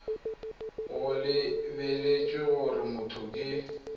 go lebeletswe gore motho ke